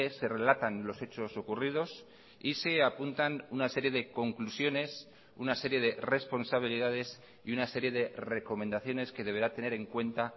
se relatan los hechos ocurridos y se apuntan una serie de conclusiones una serie de responsabilidades y una serie de recomendaciones que deberá tener en cuenta